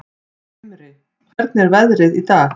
Himri, hvernig er veðrið í dag?